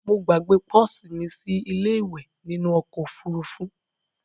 Mo gbàgbe pọ́sì mí sílé ìwẹ̀ nínu okò òfurufú